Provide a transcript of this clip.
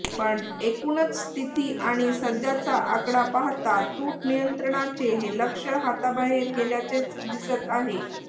पण एकूणच स्थिती आणि सध्याचा आकडा पाहता तूट नियंत्रणाचे हे लक्ष्य हाताबाहेर गेल्याचेच दिसत आहे